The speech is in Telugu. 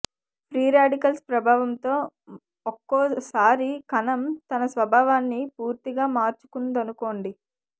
ఫ్రీ రాడికల్స్ ప్రభావంతో ఒక్కోసారి కణం తన స్వభావాన్ని పూర్తిగా మార్చుకుందనుకోండి